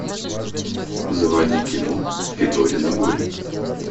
заводи кино федорино горе